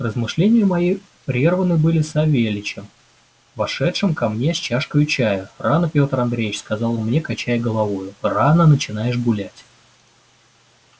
размышления мои прерваны были савельичем вошедшим ко мне с чашкою чая рано пётр андреич сказал он мне качая головою рано начинаешь гулять